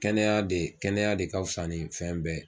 Kɛnɛya de, kɛnɛya de ka fusa ni fɛn bɛɛ.